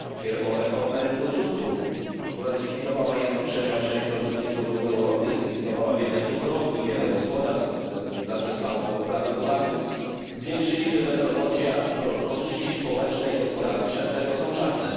wielką reformę rynku cukru, która zlikwidowała jedną trzecią produkcji cukru w Europie, zlikwidowała wiele cukrowni, wiele gospodarstw zaprzestało uprawy buraków, zwiększyliśmy bezrobocie, a korzyści społeczne i gospodarcze z tego są żadne.